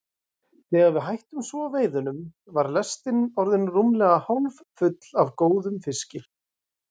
Þegar við hættum svo veiðunum var lestin orðin rúmlega hálffull af góðum fiski.